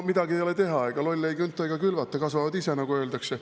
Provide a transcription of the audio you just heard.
Midagi ei ole teha, lolle ei künta ega külvata, kasvavad ise, nagu öeldakse.